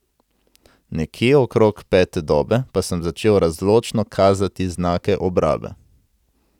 Nekje okrog pete dobe pa sem začel razločno kazati znake obrabe.